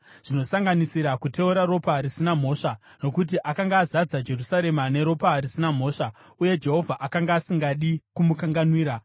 zvinosanganisira kuteura ropa risina mhosva. Nokuti akanga azadza Jerusarema neropa risina mhosva, uye Jehovha akanga asingadi kumukanganwira.